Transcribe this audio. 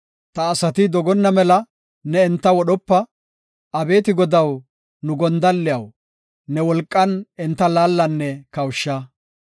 Ta asati dogonna mela ne enta wodhopa. Abeeti Godaw, nu gondalliyaw, ne wolqan enta laallanne kawusha.